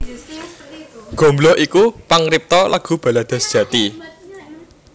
Gombloh iku pangripta lagu balada sejati